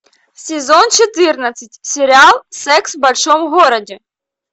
сезон четырнадцать сериал секс в большом городе